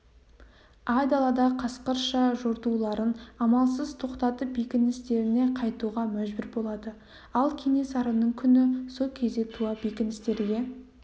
айдалада қасқырша жортуларын амалсыз тоқтатып бекіністеріне қайтуға мәжбүр болады ал кенесарының күні со кезде туады бекіністерге